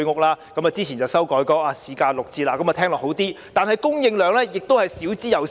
當局之前把居屋的售價修改為市價六折，聽起來是好事，但供應量少之又少。